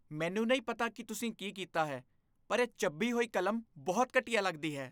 ਮੈਨੂੰ ਨਹੀਂ ਪਤਾ ਕਿ ਤੁਸੀਂ ਕੀ ਕੀਤਾ ਹੈ ਪਰ ਇਹ ਚੱਬੀ ਹੋਈ ਕਲਮ ਬਹੁਤ ਘਟੀਆ ਲੱਗਦੀ ਹੈ।